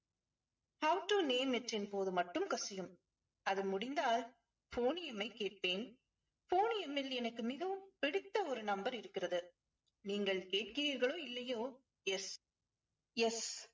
how to name it இன் போது மட்டும் கசியும். அது முடிந்தால் euphonium ஐ கேட்பேன். euphonium ல் எனக்கு மிகவும் பிடித்த ஒரு number இருக்கிறது நீங்கள் கேட்கிறீர்களோ இல்லையோ yes yes